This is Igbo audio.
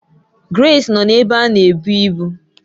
Grace nọ n'ebé a n'ebu ibu